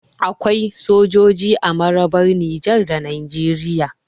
Akwai sojoji a mararrabar Nijar da Najeriya